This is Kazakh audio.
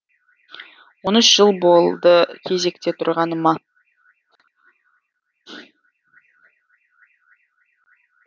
он үш жыл болды кезекте тұрғаныма